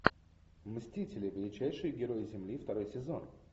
мстители величайшие герои земли второй сезон